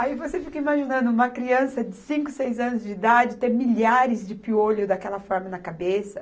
Aí você fica imaginando uma criança de cinco, seis anos de idade ter milhares de piolho daquela forma na cabeça.